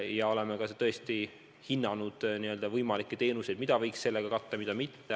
Ja oleme ka tõesti hinnanud võimalikke teenuseid, mida võiks selles osa pakkuda, mida mitte.